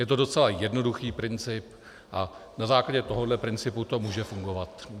Je to docela jednoduchý princip a na základě tohoto principu to může fungovat.